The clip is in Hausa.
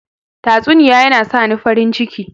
Tatsuniya yana sani farin ciki.